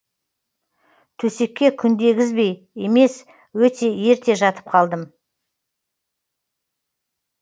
төсекке күндегізбей емес өте ерте жатып қалдым